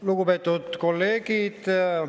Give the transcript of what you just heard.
Lugupeetud kolleegid!